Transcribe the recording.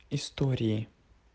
истории